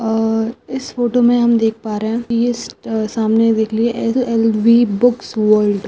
और इस फोटो मे हम देख प रहे है ये सामने देख लीजिए ए-ए-एस _एल_वी बुक्स वर्ल्ड --